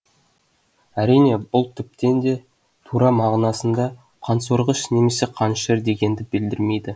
әрине бұл тіптен де тура мағынасында қансорғыш немесе қанішер дегенді білдірмейді